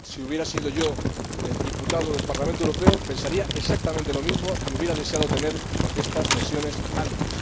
Si hubiera sido yo diputado al Parlamento Europeo, pensaría exactamente lo mismo y hubiera deseado tener estas versiones antes.